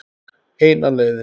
Eina leiðin.